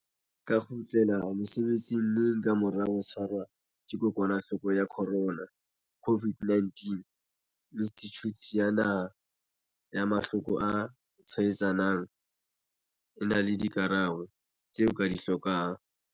ka kgutlela mosebetsing neng ka mora ho tshwarwa ke kokwanahloko ya corona, COVID-19? Institjhuti ya Naha ya Mahlo ko a Tshwaetsanang e na le dikarabo tseo o di hlokang.